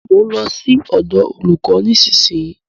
Mo ń lọ sí ọ̀dọ̀ olúkò nísìyí.